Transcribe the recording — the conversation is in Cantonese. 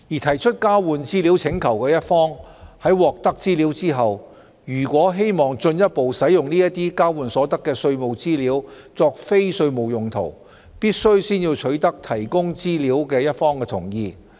提出交換資料請求的一方在獲得資料後，如果希望進一步使用交換所得的稅務資料作非稅務用途，必須先取得提供資料一方的同意。